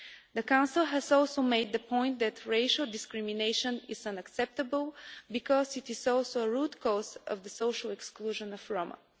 The Council has also made the point that racial discrimination is unacceptable because it is also a root cause of the social exclusion of the Roma.